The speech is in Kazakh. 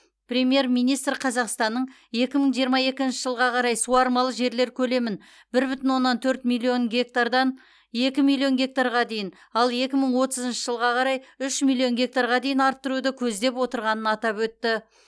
премьер министр қазақстанның екі мың жиырма екінші жылға қарай суармалы жерлер көлемін бір бүтін оннан төрт миллион гектардан екі милион гектарға дейін ал екі мың отызыншы жылға қарай үш миллион гектарға дейін арттыруды көздеп отырғанын атап өтті